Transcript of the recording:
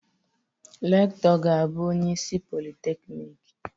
Rektọ ga-abụ onye isi Polịteknik.